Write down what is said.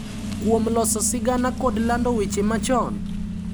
Kuom loso sigana kod lando weche machon,